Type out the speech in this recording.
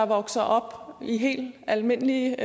vokser op i helt almindelige